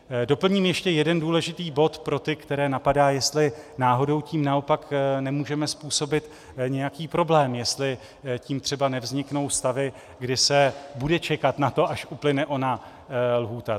Doplním ještě jeden důležitý bod pro ty, které napadá, jestli náhodou tím naopak nemůžeme způsobit nějaký problém, jestli tím třeba nevzniknou stavy, kdy se bude čekat na to, až uplyne ona lhůta.